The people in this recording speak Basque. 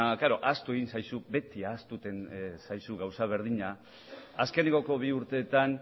ahaztu egin zaizu beti ahazten zaizu gauza berdina azkeneko bi urteetan